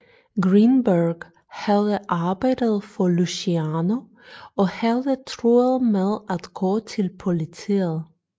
Greenberg havde arbejdet for Luciano og havde truet med at gå til politiet